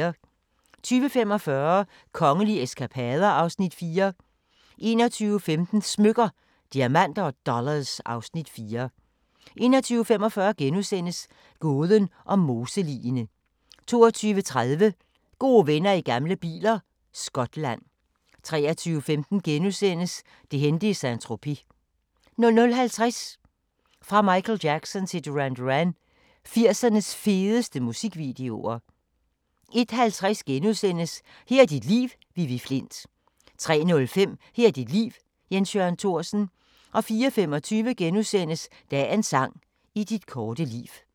20:45: Kongelige eskapader (Afs. 4) 21:15: Smykker – Diamanter & Dollars (Afs. 4) 21:45: Gåden om moseligene * 22:30: Gode venner i gamle biler – Skotland 23:15: Det hændte i Saint-Tropez * 00:50: Fra Michael Jackson til Duran Duran – 80'ernes fedeste musikvideoer 01:50: Her er dit liv – Vivi Flindt * 03:05: Her er dit liv – Jens Jørgen Thorsen 04:25: Dagens sang: I dit korte liv *